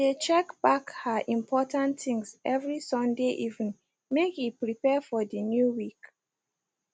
she de check back her important things every sunday evening make e prepare for de new week